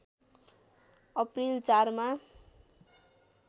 April ४ मा